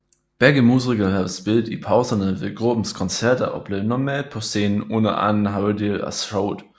Begge musikere havde spillet i pauserne ved gruppens koncerter og blev normalt på scenen under anden halvdel af showet